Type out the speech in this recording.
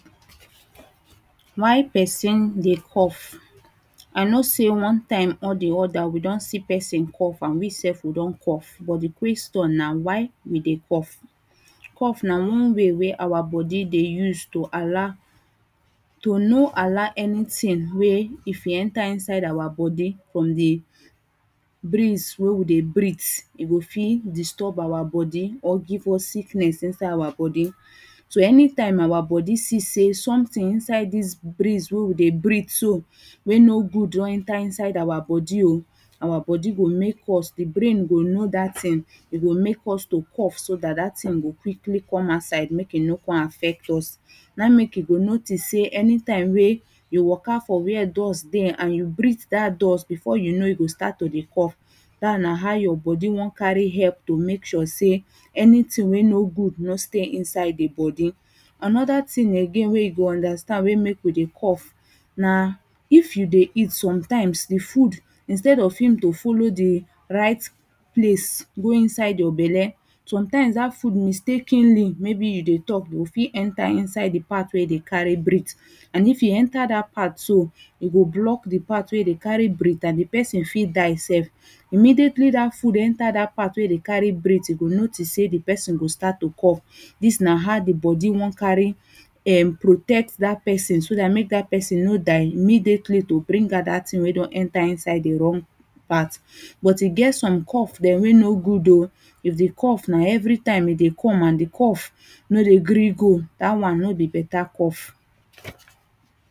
Why person dey cough I know say one time or the other we don see person cough and we sef we don cough but the question na why we dey cough Cough na one way wey our body dey use to allow to no allow anything wey if e enter inside our body from the breeze wey we dey breath e go fit disturb our body or give us sickness inside our body so anytime our body see say something inside this breeze wey we dey breath so wey no good don enter inside our body oh our body go make us the brain go know that thing e go make us to cough so that thing go quickly come outside make e no come affect us na him make you dey notice say anytime wey waka for where dust dey am you breath that dust before you know you go start to dey cough that na how your body wan carry help to make sure sey anything wey no good no stay inside ide the body another thing again wey you go understand wey make we dey cough na if you dey eat sometimes the food instead of him to follow the right place go inside your belle sometimes that food mistakenly maybe you dey talk o fit enter the part wey you dey carry breathe and if e enter that part so e go block the part wey e dey carry breathe and the person fit die sef immediately that food enter that part wey we dey carry breathe you go notice say the person go start to cough this na how the body wan carry protect that person so that make that person no die immediately to bring out that thing wey don enter inside the wrong part but e get some cough wey no good oo if the cough na every time e dey come and the cough no dey gree go that one no be better cough